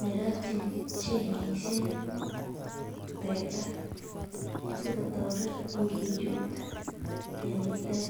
nerotyin chainishek teta sikotoret ikichuti tenyitet.